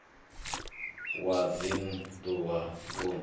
wa dzinn ḓu wa vunḓu